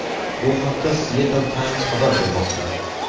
Bu haqda Seattle Times xabar bermoqda .